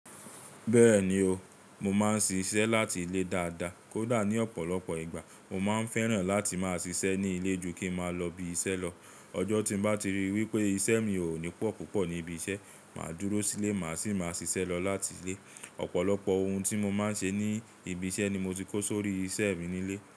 Bẹ́ẹ̀ni o, mo máa ń ṣiṣẹ́ láti ilé dáadáa. Kódà ní ọ̀pọ̀lọpọ̀ ìgbà, mo máa ń fẹ́ràn láti máa ṣiṣẹ́ ní ilé ju kí máa lọ ibi iṣẹ́ lọ. Ọjọ́ tí mo bá ti ríi wípé iṣẹ́ mi kò ní pọ̀ púpọ̀ ní ibi iṣẹ́, màá dúró sílé, màá sì máa ṣiṣẹ́ lọ láti ilé. Ọ̀pọ̀lọpọ̀ ohun tí mo máa ń ṣe ní ibi iṣẹ́ ni mo ti kó sórí iṣẹ́ mi ní ilé.